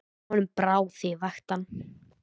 Honum brá þegar ég vakti hann.